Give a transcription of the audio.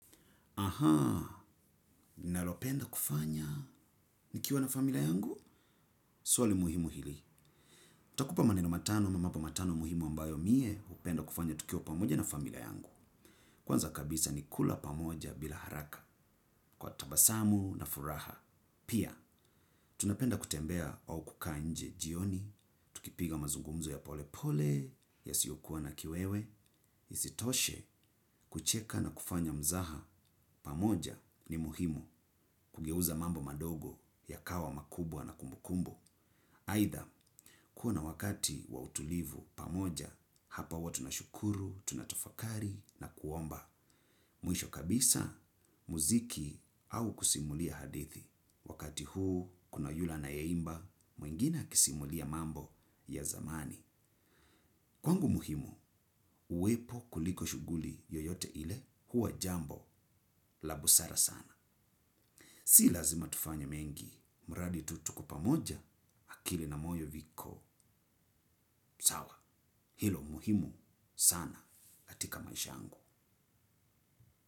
Ninalopenda kufanya, nikiwa na familia yangu, swali muhimu hili. Nitakupa maneno matano, ama mambo matano muhimu ambayo mie, upenda kufanya tukiwa pamoja na familia yangu. Kwanza kabisa ni kula pamoja bila haraka, kwa tabasamu na furaha. Pia, tunapenda kutembea au kukaa nje jioni, tukipiga mazungumzo ya pole pole, yasiyokuwa na kiwewe. Isitoshe kucheka na kufanya mzaha pamoja ni muhimu kugeuza mambo madogo yakawa makubwa na kumbukumbu. Aidha kuwa na wakati wa utulivu pamoja hapa huwa tunashukuru, tunatofakari na kuomba. Mwisho kabisa muziki au kusimulia hadithi. Wakati huu kuna yule anayeimba, mwingine akisimulia mambo ya zamani. Kwangu muhimu, uwepo kuliko shuguli yoyote ile huwa jambo la busara sana. Si lazima tufanya mengi, muradi tu tuko pamoja akili na moyo viko. Sawa, hilo muhimu sana. Tika maisha angu.